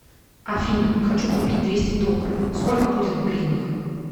афина хочу купить двести долларов сколько будет в гривнах